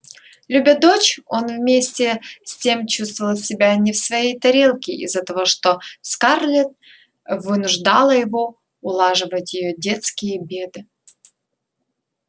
любя дочь он вместе с тем чувствовал себя не в своей тарелке из-за того что скарлетт вынуждала его улаживать её детские беды